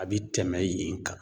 A bi tɛmɛn yen kan.